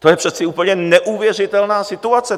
To je přece úplně neuvěřitelná situace.